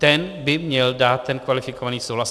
Ten by měl dát ten kvalifikovaný souhlas.